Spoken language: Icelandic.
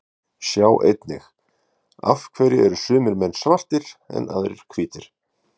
Sjá einnig: Af hverju eru sumir menn svartir en aðrir hvítir?